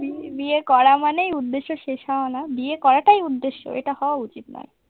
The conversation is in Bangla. বিয়ে করা মানেই উদ্দেশ্য শেষ হওয়া না, বিয়ে করাটাই উদ্দেশ্য। এটা হওয়া উচিত নয়।